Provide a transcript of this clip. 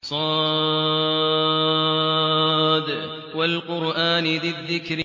ص ۚ وَالْقُرْآنِ ذِي الذِّكْرِ